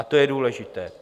A to je důležité.